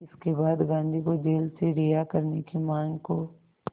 इसके बाद गांधी को जेल से रिहा करने की मांग को